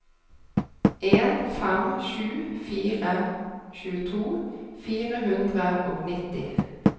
en fem sju fire tjueto fire hundre og nitti